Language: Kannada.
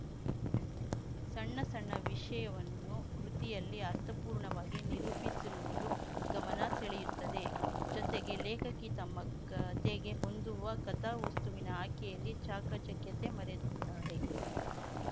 ಸಣ್ಣ ಸಣ್ಣ ವಿಷಯವನ್ನು ಕೃತಿಯಲ್ಲಿ ಅರ್ಥಪೂರ್ಣವಾಗಿ ನಿರೂಪಿಸಿರುವುದು ಗಮನ ಸೆಳೆಯುತ್ತದೆ ಜೊತೆಗೆ ಲೇಖಕಿ ತಮ್ಮ ಕತೆಗೆ ಹೊಂದುವ ಕಥಾವಸ್ತುವಿನ ಆಯ್ಕೆಯಲ್ಲಿ ಚಾಕಚಕ್ಯತೆ ಮರೆದಿದ್ದಾರೆ